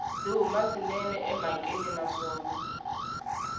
byi huma swinene emhakeni naswona